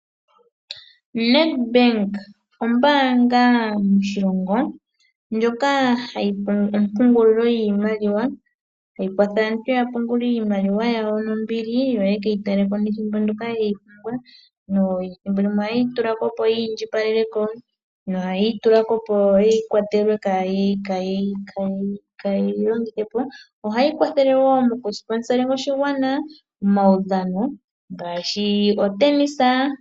Nedbank ombaanga moshilongo ndjoka hayi pungula, ompungulilo yiimaliwa tayi kwatha aantu yapungule iimaliwa yawo nombili yo yeke yi tale ko nethimbo ndyoka ye yi pumbwa. Thimbolimwe ohaye yi tulako opo yi indjipaleleko nohaye yi tulako opo kaaye yi longithe po. Ohayi kwathele wo momaudhano ngaashi otenisa.